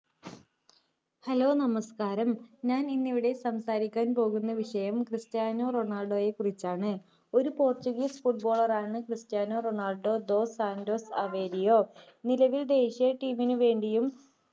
hello നമസ്ക്കാരം ഞാൻ ഇന്നിവിടെ സംസാരിക്കാൻ പോകുന്നത് ക്രിസ്റ്റിയാനൊ റൊണാൾഡൊയെക്കുറിച്ചാണ്ഒരു പോർച്ചുഗീസ് football ആണ് Cristiano Ronaldo dos Santos Aveiro നിലവിൽ ദേശീയ team നുവേണ്ടിയും